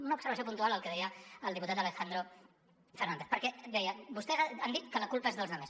una observació puntual al que deia el diputat alejandro fernández perquè deia vostès han dit que la culpa és dels altres